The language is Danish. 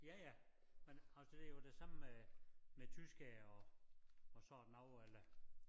Ja ja men altså det jo det samme med med tyskere og og sådan noget eller